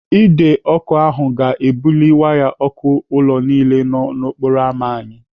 Ide ọkụ ahụ ga-ebuli waya ọkụ ụlọ niile nọ n'okporo ámá anyị.